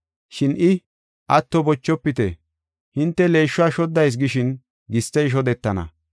“Shin I, ‘Atto bochofite; hinte leeshuwa shoddayis gishin gistey shodetana.